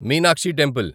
Meenakshi temple